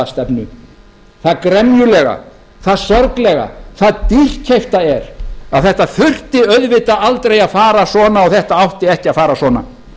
stefnu það gremjulega það sorglega það dýrkeypta er að þetta þurfti auðvitað aldrei að fara svona og þetta átti ekki að fara svona